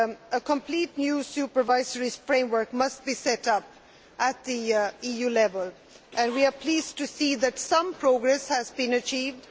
A complete new supervisory framework must be set up at EU level, and we are pleased to see that some progress has been achieved.